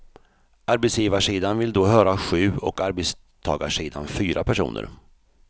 Arbetsgivarsidan vill då höra sju och arbetstagarsidan fyra personer.